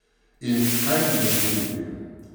In kaj nam je storiti?